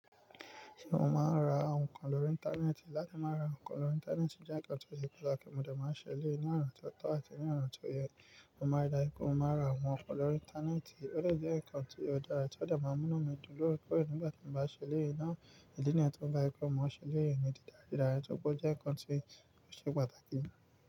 Ṣé o máa ń ra nkan lórí Íńtánẹ́ẹ̀tì? Láti máa ra nkan lórí Íńtánẹ́ẹ̀tì jẹ́ ǹkan tó ṣe pàtàkì, mo de máa ń ṣe elee naa tó tọ́ àti ní ona tó yẹ. Mo máa rí dára kí ó máa ra àwọn nǹkan lórí Íńtánẹ́ẹ̀tì, ó lè jẹ́ ǹkan tó dára tí ó dà máa ń múná mi dúró kó è nígbà tí mo bá ṣe elee náà, ẹni tí ó ń bá ikú, mo ṣe léèyín mi di dáradára, tó pé ó jẹ́ ǹkan tí ó ṣe pàtàkì.